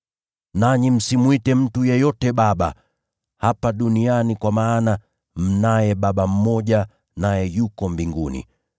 Nanyi msimwite mtu yeyote ‘Baba,’ hapa duniani, kwa maana mnaye Baba mmoja, naye yuko mbinguni.